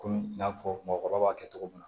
Kɔmi n y'a fɔ mɔgɔkɔrɔba b'a kɛ cogo min na